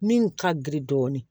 Min ka girin dɔɔnin